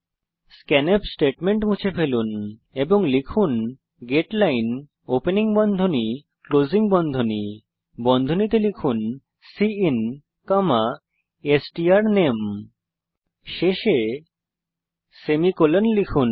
scanf statement মুছে ফেলুন এবং লিখুন গেটলাইন ওপেনিং বন্ধনী ক্লোজিং বন্ধনী বন্ধনীতে লিখুন সিআইএন স্ট্রানামে শেষে সেমিকোলন লিখুন